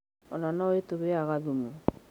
Ona no ĩtũheaga thumu.